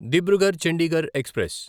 Dibrugarh Chandigarh express